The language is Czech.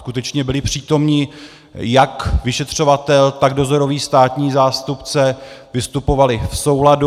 Skutečně byli přítomni jak vyšetřovatel, tak dozorový státní zástupce, vystupovali v souladu.